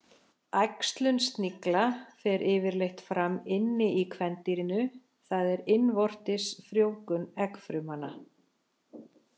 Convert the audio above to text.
Æxlun snigla fer yfirleitt fram inni í kvendýrinu, það er innvortis frjóvgun eggfrumanna.